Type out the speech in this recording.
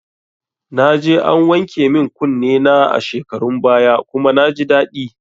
Naje an wanke min kunne na a shekarun baya kuma naji daidai